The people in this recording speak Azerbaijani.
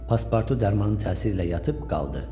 Paspartu dərmanın təsiri ilə yatıb qaldı.